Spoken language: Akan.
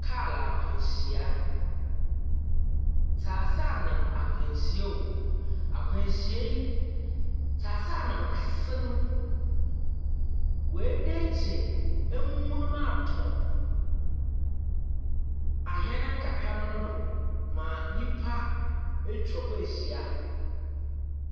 Kar akwanhyia. Tseaseanam akwanhyia ooo. Akwanhyia yi tseaseanam kɛse no ɔadenkyen amunum atɔ ahɛn nkakramba no do ma nnympa atwa hɔ aahyia.